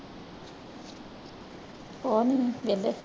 ਕੁਛ ਨੀ ਵਿਹਲੇ।